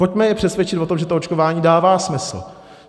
Pojďme je přesvědčit o tom, že to očkování dává smysl.